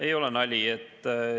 Ei ole nali.